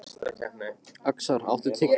Öxar, áttu tyggjó?